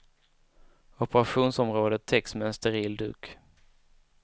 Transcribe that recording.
Operationsområdet täcks med en steril duk.